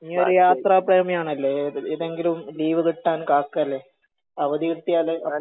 നിയൊരു യാത്രാ പ്രേമി ആണല്ലേ ഏതെങ്കിലും ലീവ് കിട്ടാൻ കാക്കേലെ. അവധി കിട്ടിയാൽ